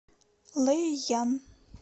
лэйян